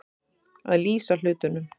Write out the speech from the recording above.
Að lýsa hlutunum